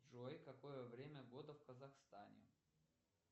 джой какое время года в казахстане